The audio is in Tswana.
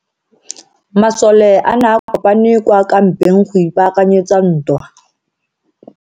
Masole a ne a kopane kwa kampeng go ipaakanyetsa ntwa.